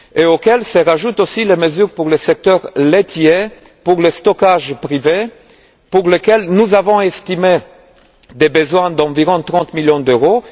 À ceci se rajoutent aussi les mesures pour le secteur laitier, pour le stockage privé pour lequel nous avons estimé les besoins à environ 30 millions d'euros.